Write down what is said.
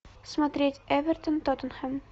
смотреть эвертон тоттенхэм